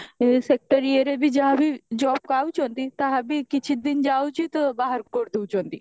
sector ଇଏରେ ବି ଯାହା ବି job ପାଉଛନ୍ତି ତାହା ବି କିଛି ଦିନ ଯାଉଛି ତ ବାହାର କରିଦଉଛନ୍ତି